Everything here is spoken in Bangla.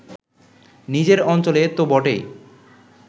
নিজের অঞ্চলে তো বটেই